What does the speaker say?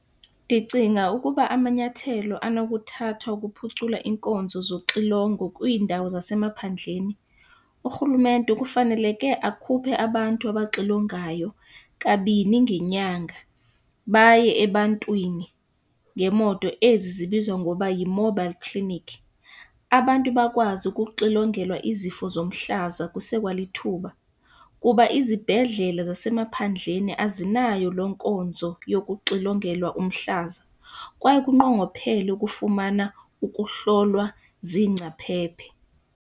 Ndicinga ukuba amanyathelo anokuthathwa ukuphucula iinkonzo zoxilongo kwiindawo zasemaphandleni, urhulumente kufaneleke akhuphe abantu abaxilongayo kabini ngenyanga baye ebantwini ngeemoto ezi zibizwa ngoba yi-mobile clinic. Abantu bakwazi ukuxilongelwa izifo zomhlaza kusekwalithuba kuba izibhedlele zasemaphandlela azinayo loo nkonzo yokuxilongelwa umhlaza kwaye kunqongophele ukufumana ukuhlolwa ziingcaphephe.